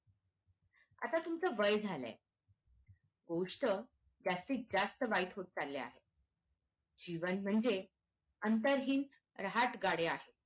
आता तुमचं वय झालंय गोष्ट जास्तीत जास्त वाईट होत चालल्या आहेत जीवन म्हणजे अंतर्हित राहत गाडे आहे